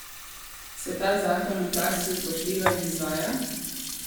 Se ta zakon v praksi upošteva in izvaja?